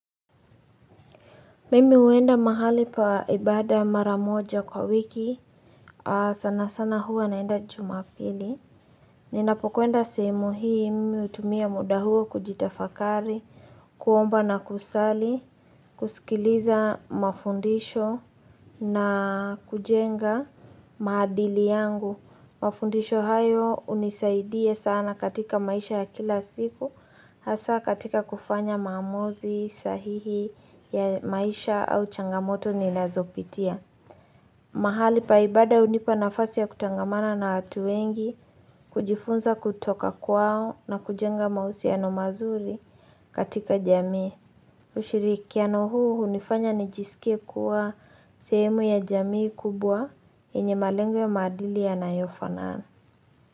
Mimi huenda mahali paibada maramoja kwa wiki, sana sana huwa naenda jumapili. Nina pokuenda sehemu hii mimi hutumia muda huo kujitafakari, kuomba na kusali, kusikiliza mafundisho na kujenga maadili yangu. Mafundisho hayo unisaidie sana katika maisha ya kila siku Hasa katika kufanya maamuzi sahihi ya maisha au changamoto ninazo pitia mahali paibada hunipa nafasi ya kuchangamana na watu wengi kujifunza kutoka kwao na kujenga mahusiano mazuri katika jamii ushirikiano huu hunifanya nijisike kuwa sehemu ya jamii kubwa yenye malengo ya maadili yanayo fanana.